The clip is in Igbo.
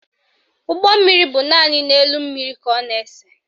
Ụgbọmmiri bụ naanị n'elu mmiri ka ọ na-ese